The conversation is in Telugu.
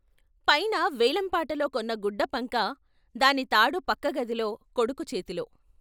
పైన వేలంపాటలో కొన్న గుడ్డ పంకా, దాని తాడు పక్కగదిలో కొడుకు చేతిలో.